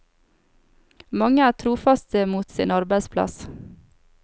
Mange er trofaste mot sin arbeidsplass.